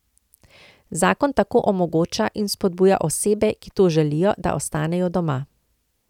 Zakon tako omogoča in vzpodbuja osebe, ki to želijo, da ostanejo doma.